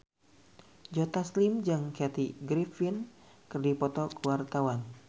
Joe Taslim jeung Kathy Griffin keur dipoto ku wartawan